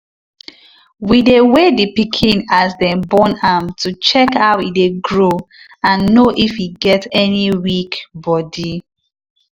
we dey weigh the pikin as dem born am to check how e dey grow and know if e get any weak body.